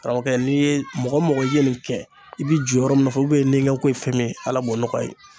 Karamɔgɔkɛ n'i ye mɔgɔ mɔgɔ i ye nin kɛ i bi jɔ yɔrɔ min nɔfɛ ubiyɛn niganko ye fɛn min ye ala b'o nɔgɔ i ye